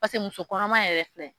Pase musokɔnɔma yɛrɛ filɛ.